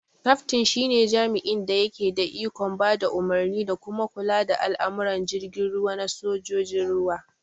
Kaftin shi ne jami'in da yake da ikon ba da umarni da kuma kula da al'amuran jirgin ruwa na sojojin ruwa